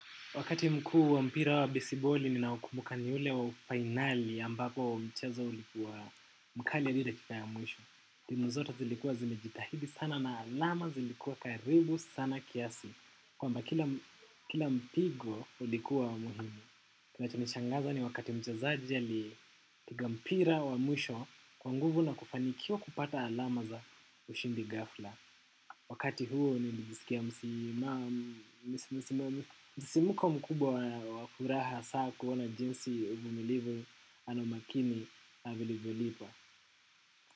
Wakati mkuu wa mpira wa besiboli ninaokumbuka ni ule wa fainali ambapo mcheza ulikuwa mkali hivi dakika ya mwisho. Timu zote zilikuwa zimejitahidi sana na alama zilikuwa karibu sana kiasi. Kwamba kila mpigo ulikuwa wa muhimu. Kinachonishangaza ni wakati mchezaji alipiga mpira wa mwisho kwa nguvu na kufanikiwa kupata alama za ushindi ghafla. Wakati huo nilijisikia msisimko mkubwa wa furaha hasa kuona jinsi uvumilivu ana makini ha vilivyolipa.